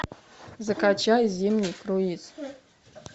закачай зимний круиз